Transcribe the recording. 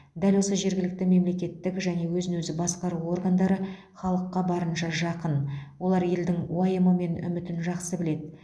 дәл осы жергілікті мемлекеттік және өзін өзі басқару органдары халыққа барынша жақын олар елдің уайымы мен үмітін жақсы біледі